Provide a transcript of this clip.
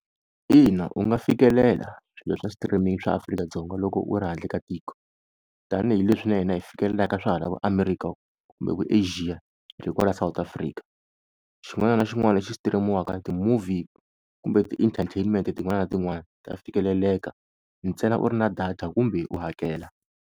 Ina u nga fikelela swilo swa streaming swa Afrika-Dzonga loko u ri handle ka tiko, tanihileswi na hina hi fikelelaka swa hala vo America kumbe vo-Asia hi ri kwala South Africa. Xin'wana na xin'wana lexi xi stream-iwaka ti-movie kumbe ti-entertainment tin'wana na tin'wana ta fikeleleka ntsena u ri na data kumbe u hakela.